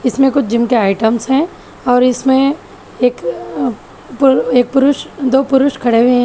इसमें कुछ जिम के आइटम्स है और इसमें एक पुरुष दो पुरुष खड़े हुए है।